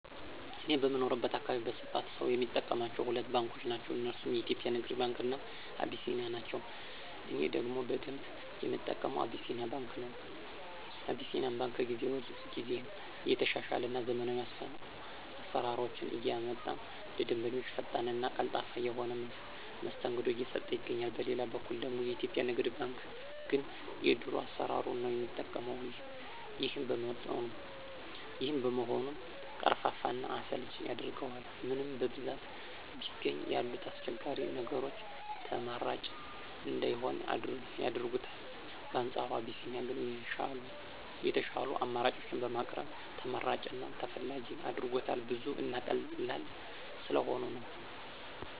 እኔ በምኖርበት አካባቢ በስፋት ሰው የሚጠቀማቸው ሁለት ባንኮችን ነው። እነርሱም የኢትዮጵያ ንግድ ባንክ እና አቢሲኒያ ባንክ ናቸው። እኔ ደግሞ በደንብ የምጠቀመው አቢሲኒያ ባንክ ነው። አቢሲኒያ ባንክ ከጊዜ ጊዜ እየተሻሻለ እና ዘመናዊ አሰራሮችን እያመጣ ለደንበኞቹ ፈጣን እና ቀልጣፋ የሆነ መስተንግዶ እየሰጠ ይገኛል። በሌላ በኩል ደግሞ የኢትዮጵያ ንግድ ባንክ ግን የድሮ አሰራሩን ነው የሚጠቀው። ይሄም በመሆኑ ቀርፋፋ እና አሰልቺ ያደርገዋል። ምንም በብዛት ቢገኝ ያሉት አስቸጋሪ ነገሮች ተመራጭ እንዳይሆን ያደርጉታል። በአንፃሩ አቢሲኒያ ግን የሻሉ አማራጮችን በማቅረብ ተመራጭ እና ተፈላጊ አድርጎታል። ብዙ እና ቀላል ስለሆኑ ነው።